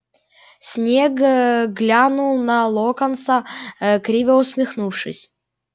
снегг глянул на локонса криво усмехнувшись